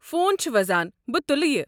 Phone چھُ وزان، بہٕ تُلہٕ یہِ۔